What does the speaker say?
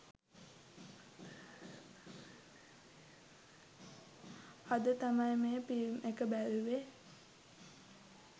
අද තමයි මේ ෆිල්ම් ඒක බැලුවේ